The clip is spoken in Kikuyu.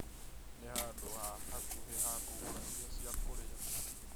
Nĩ handũ ha hakuhĩ ha kũgũra irio cia kũrĩa